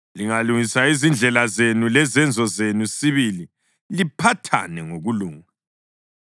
Lingalungisa izindlela zenu lezenzo zenu sibili liphathane ngokulunga,